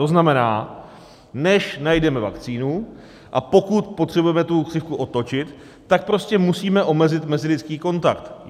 To znamená, než najdeme vakcínu, a pokud potřebujeme tu křivku otočit, tak prostě musíme omezit mezilidský kontakt.